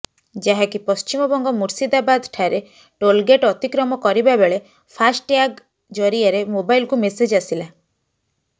ଯାହାକି ପଶ୍ଚିମବଙ୍ଗ ମୁର୍ସିଦାବାଦଠାରେ ଟୋଲଗେଟ୍ ଅତିକ୍ରମ କରିବା ବେଳେ ଫାଷ୍ଟ ଟ୍ୟାଗ୍ ଜରିଆରେ ମୋବାଇଲକୁ ମେସେଜ୍ ଆସିଲା